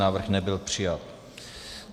Návrh nebyl přijat.